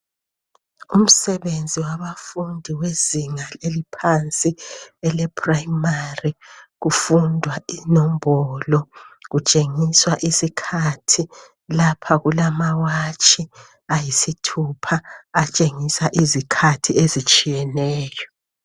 umsebenzi wabafundi wezinga eliphansi kwele primary kufundwa inombolo kutshengiswa isikhathi lapha kumawatshi ayisthupha atshengisa izikhathi ezitshiyeneyo